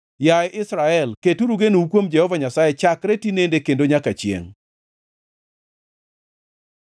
Yaye Israel, keturu genou kuom Jehova Nyasaye chakre tinende kendo nyaka chiengʼ.